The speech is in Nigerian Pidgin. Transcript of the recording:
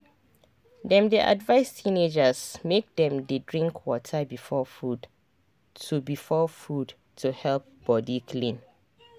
dem dey advise teenagers make dem dey drink water before food to before food to help body clean.